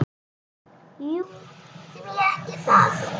Jú, því ekki það?